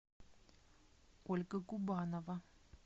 ольга губанова